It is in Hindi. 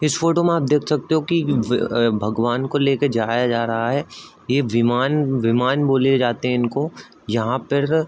इस फोटो में आप देख सकते हो कि भगवान को लेके जाया जा रहा है ये विमान विमान बोले जाते है इनको यहां पर --